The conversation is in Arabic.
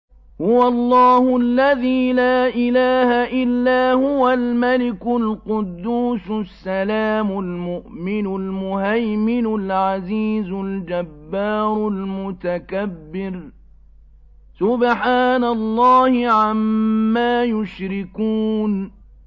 هُوَ اللَّهُ الَّذِي لَا إِلَٰهَ إِلَّا هُوَ الْمَلِكُ الْقُدُّوسُ السَّلَامُ الْمُؤْمِنُ الْمُهَيْمِنُ الْعَزِيزُ الْجَبَّارُ الْمُتَكَبِّرُ ۚ سُبْحَانَ اللَّهِ عَمَّا يُشْرِكُونَ